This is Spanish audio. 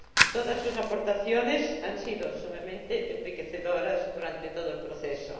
Todas sus aportaciones han sido sumamente enriquecedoras durante todo el proceso.